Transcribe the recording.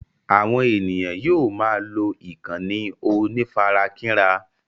Àwọn ènìyàn yóò máa lọ ìkànnì onífarakínra.